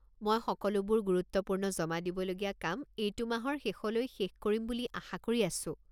মই সকলোবোৰ গুৰুত্বপূৰ্ণ জমা দিবলগীয়া কাম এইটো মাহৰ শেষলৈ শেষ কৰিম বুলি আশা কৰি আছোঁ।